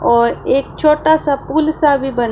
और एक छोटा सा पूल सा भी बन--